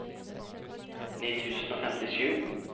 ni tusen og femtisju